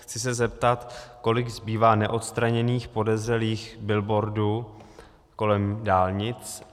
Chci se zeptat, kolik zbývá neodstraněných podezřelých billboardů kolem dálnic.